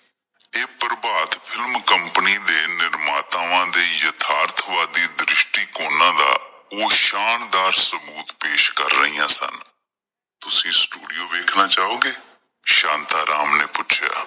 ਪ੍ਰਭਾਤ film company ਦੇ ਨਿਰਮਾਤਾਵਾਂ ਦਾ ਯਥਾਰਥ ਵਾਦੀ ਦ੍ਰਿਸਟੀ ਕੋਣਾਂ ਦਾ ਓਹ ਸ਼ਾਨਦਾਰ ਸਬੂਤ ਪੇਸ਼ ਕਰ ਰਹੀਆਂ ਸਨ ਤੁਸੀਂ ਸਟੂਡੀਓ ਵੇਖਣਾ ਚਾਹੋਗੇ ਸ਼ਾਂਤਾ ਰਾਮ ਨੇ ਪੁੱਛਿਆ?